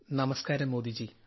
നമസ്കാരം മോദിജി